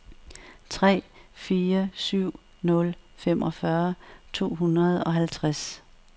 tre fire syv nul femogfyrre to hundrede og halvtreds